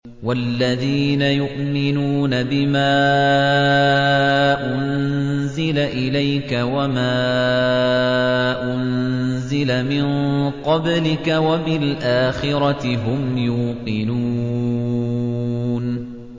وَالَّذِينَ يُؤْمِنُونَ بِمَا أُنزِلَ إِلَيْكَ وَمَا أُنزِلَ مِن قَبْلِكَ وَبِالْآخِرَةِ هُمْ يُوقِنُونَ